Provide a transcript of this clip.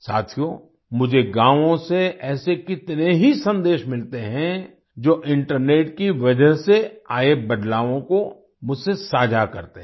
साथियो मुझे गावों से ऐसे कितने ही सन्देश मिलते हैं जो इंटरनेट की वजह से आए बदलावों को मुझसे साझा करते हैं